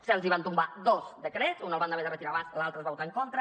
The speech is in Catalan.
se’ls van tombar dos decrets un el van haver de retirar abans l’altre es va votar en contra